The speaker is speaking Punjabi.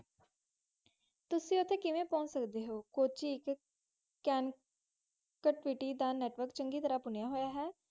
ਤੁਸੀ ਉਤੇ ਕੀੜਾ ਪੋਚ ਸਕਦੇ ਹੋ